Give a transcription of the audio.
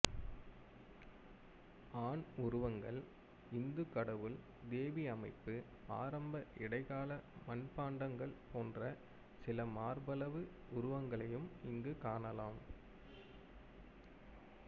ஆண் உருவங்கள் இந்து கடவுள் தேவி அமைப்பு ஆரம்ப இடைக்கால மட்பாண்டங்கள் போன்ற சில மார்பளவு உருவங்களையும் இங்கு காணலாம்